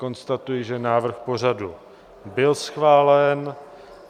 Konstatuji, že návrh pořadu byl schválen.